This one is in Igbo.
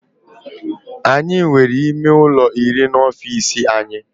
Anyị nwere ime ụlọ iri n'ofisi anyị